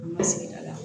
An ka sigida la